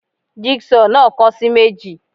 Jig saw náà kan sì meji